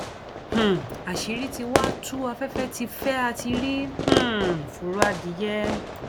um àṣírí tí wàá tú afẹfẹ tí fẹ á ti rí um fọrọ adìyẹ